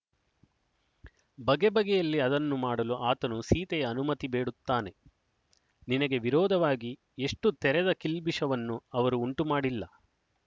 ಬಗೆಬಗೆಯಲ್ಲಿ ಅದನ್ನು ಮಾಡಲು ಆತನು ಸೀತೆಯ ಅನುಮತಿ ಬೇಡುತ್ತಾನೆ ನಿನಗೆ ವಿರೋಧವಾಗಿ ಎಷ್ಟು ತೆರೆದ ಕಿಲ್ಬಿಷವನ್ನು ಅವರು ಉಂಟುಮಾಡಿಲ್ಲ